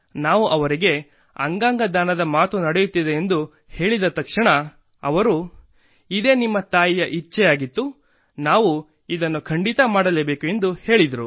ನಾವು ಅವರಿಗೆ ಅಂಗಾಂಗ ದಾನದ ಮಾತು ನಡೆಯುತ್ತಿದೆ ಎಂದು ಹೇಳಿದ ತಕ್ಷಣ ಅವರು ಇದೇ ನಿಮ್ಮ ತಾಯಿಯ ಇಚ್ಛೆಯಾಗಿತ್ತು ಮತ್ತು ನಾವು ಇದನ್ನು ಖಂಡಿತ ಮಾಡಲೇಬೇಕು ಎಂದು ಹೇಳಿದರು